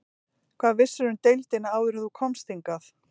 Hvað vissirðu um deildina áður en þú komst hingað?